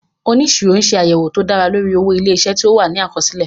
Oníṣirọ ṣe àyẹ̀wò tó dára lórí owó ilé-isé tí ó wà ní àkọsílẹ̀